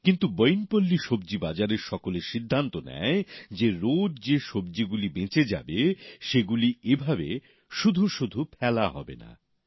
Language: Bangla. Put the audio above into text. কিন্তু বইনপল্লীতে সব্জি বাজারের সকলে সিদ্ধান্ত নেয় যে রোজ যে সব্জিগুলি বেঁচে যাবে সেগুলি এভাবে শুধু শুধু ফেলা হবে না